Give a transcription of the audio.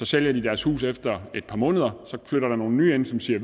sælger deres hus efter et par måneder og der så flytter nye ind som siger